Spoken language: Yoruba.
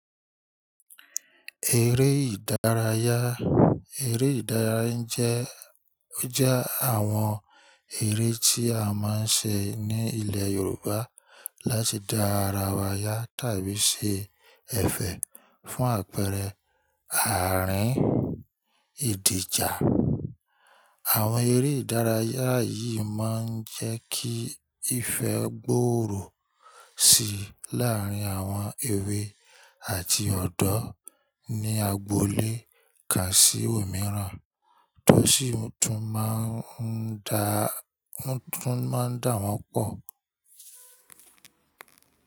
Eré ìdárayá, eré ìdárayá jẹ́, jẹ́ àwọn eré tí a máa ń ṣe ní ilẹ̀ Yorùbá láti dá ara wa yá tàbí ṣe ẹ̀fẹ̀ fún àpẹẹrẹ àárín ìdìjà. Àwọn eré ìdárayá yìí máa ń jẹ́ kí ìfẹ́ gbòòrò síi láàárín àwọn èwe àti ọ̀dọ́ ní agboolé kán sí òmíràn tó sì tún máa ń dá, tún máa ń dà wọ́n pọ̀.